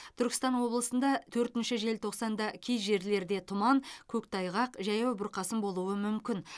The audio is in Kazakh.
түркістан облысында төртінші желтоқсанда кей жерлерде тұман көктайғақ жаяу бұрқасын болуы мүмкін